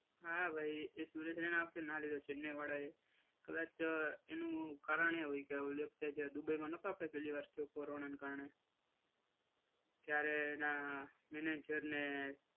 હા ભાઈ એ સુરેશ રાયના આ વખતે ના લીધો ચેન્નાઈ વાળાએ. કદાચ એનું કારણ એવું હોય કે જે વખતે જ્યારે દુબઈમાં નહોતા આપડે પહેલીવાર થયું કોરોનાના કારણે. ત્યારે એના મેનેજરને